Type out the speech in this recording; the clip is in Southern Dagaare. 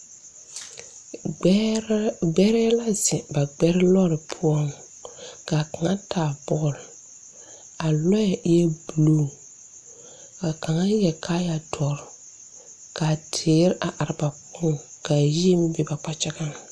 Gbɛɛrɛɛ gbɛrɛɛ la zeŋ ba gbɛre lɔɔre poɔŋ ka kaŋa taa bɔle a lɔɛ eɛ bulu ka kaŋa yɛre kaayadɔre ka teere are ba poɔŋ ka yie meŋ be ba kpakyagaŋ.